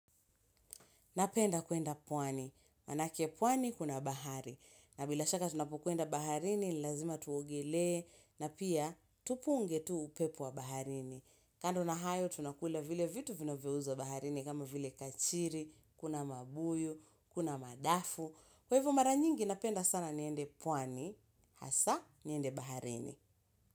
Napenda kwenda pwani, manake pwani kuna bahari. Na bila shaka tunapokwenda baharini, lazima tuogelee na pia tupunge tu upepo wa baharini. Kando na hayo tunakula vile vitu vinavyouzwa baharini kama vile kachiri, kuna mabuyu, kuna madafu. Kwa hivo mara nyingi napenda sana niende pwani, hasaa niende baharini.